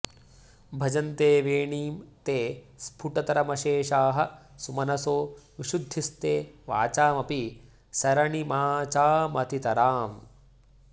भजन्ते वेणीं ते स्फुटतरमशेषाः सुमनसो विशुद्धिस्ते वाचामपि सरणिमाचामतितराम्